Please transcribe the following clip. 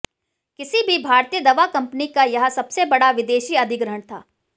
किसी भी भारतीय दवा कंपनी का यह सबसे बड़ा विदेशी अधिग्रहण था